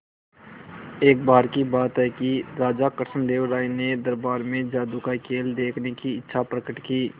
एक बार की बात है कि राजा कृष्णदेव राय ने दरबार में जादू का खेल देखने की इच्छा प्रकट की